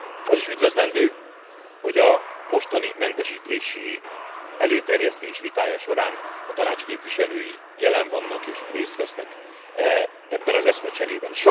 Az is üdvözlendő, hogy a mostani mentesítési előterjesztés vitája során a Tanács képviselői jelen vannak és részt vesznek ebben az eszmecserében.